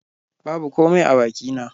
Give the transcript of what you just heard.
Babu komai a bakina